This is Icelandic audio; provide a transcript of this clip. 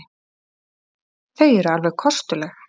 Þau eru alveg kostuleg.